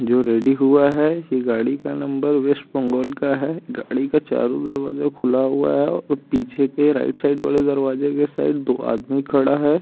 जो रेडी हुआ है ही गाड़ी का नंबर वेस्ट बोंगाल का है गाड़ी का चारु दरवाजा खुला हुआ है और पीछे के राइट-साइड वालो दरवाजे के साइड दो आदमी खड़ा है।